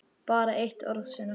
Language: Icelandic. Bara eitt orð, Sunna.